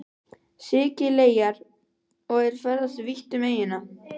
Sikileyjar og er ferðast vítt um eyjuna.